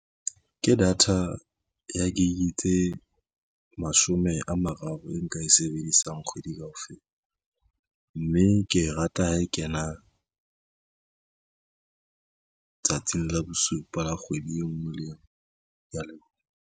Ke data ya gig tse mashome a mararo e nka e sebedisang kgwedi kaofela mme ke rata ha e kena tsatsing la bosupa la kgwedi e nngwe le engwe. Ke ya leboha.